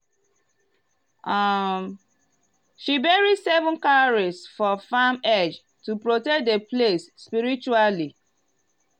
um she bury seven cowries for farm edge to protect the place spiritually.